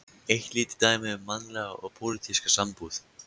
Eitt lítið dæmi um mannlega og pólitíska sambúð.